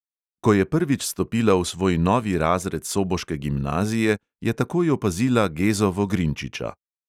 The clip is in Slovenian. Ko je prvič stopila v svoj novi razred soboške gimnazije, je takoj opazila gezo vogrinčiča.